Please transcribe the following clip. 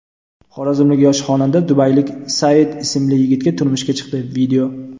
Xorazmlik yosh xonanda dubaylik Saeed ismli yigitga turmushga chiqdi.